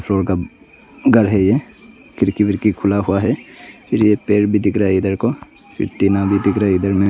और घर है खिड़की विड़की खुला हुआ है फिर यह पेड़ भी दिख रहा है इधर को फिर टीना भी दिख रहाइधर में--